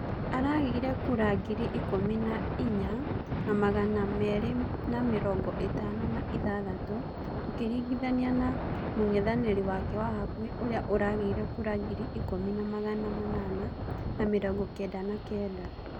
Arageire kura ngiri ikũmi na inya na magana mĩrĩ na mĩrongo ĩtano na ithathatũ ũkiringithania na mũng'ethaniri wake wa hakuhi ũria ũrageire kura ngiri ikũmi na magana manana na mĩrongo kenda na kenda.